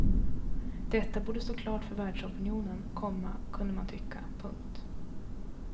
Detta borde stå klart för världsopinionen, komma kunde man tycka. punkt